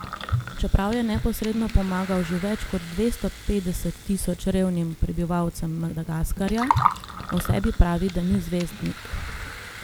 Čeprav je neposredno pomagal že več kot dvesto petdeset tisoč revnim prebivalcem Madagaskarja, o sebi pravi, da ni zvezdnik.